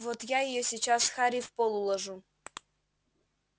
вот я её сейчас харей в пол уложу